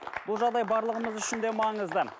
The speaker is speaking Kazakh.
бұл жағдай барлығымыз үшін де маңызды